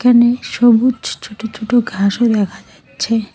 এখানে সবুজ ছোট ছোট ঘাসও দেখা যাচ্ছে।